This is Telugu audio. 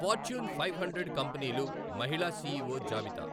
ఫార్చ్యూన్ ఫైవ్ హండ్రెడ్ కంపెనీలు మహిళా సిఈఒ జాబితా